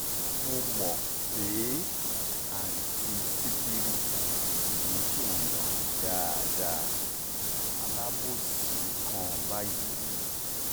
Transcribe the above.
mo mọ̀ pé àǹtí sìkìrì kì í ṣe èèyàn dáadáa alábòòsí kan báyìí ni